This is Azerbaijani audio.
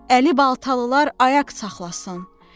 Əli baltalılar ayaq saxlasın.